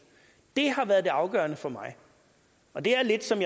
det har været det afgørende for mig og det er lidt som